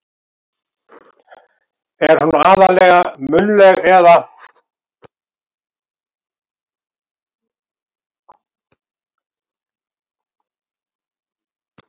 Er hún aðallega munnleg. eða.